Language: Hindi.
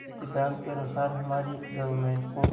इस सिद्धांत के अनुसार हमारी गवर्नमेंट को